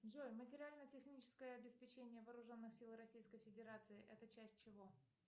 джой материально техническое обеспечение вооруженных сил российской федерации это часть чего